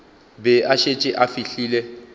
be a šetše a fihlile